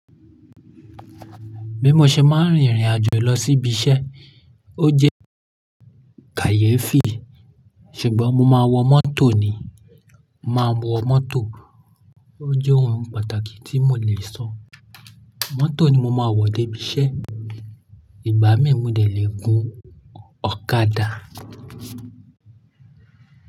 Bí mo ṣe máa rìn ìrìn àjò lọ sí ibi iṣẹ́, o jẹ́ kàyéfì, ṣùgbọ́n mo máa wọ mọ́tò ni. Máa wọ mọ́tò, o jẹ́ ohun pàtàkì tí mo le sọ. Mọ́tò ni mo máa wọ dé ibi iṣẹ́, ìgbà mí mu lè gùn ọ̀kadà.